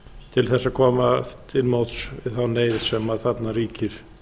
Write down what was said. til þess að koma til móts við þá neyð sem þarna ríkir